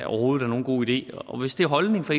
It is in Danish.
overhovedet er nogen god idé hvis det er holdningen fra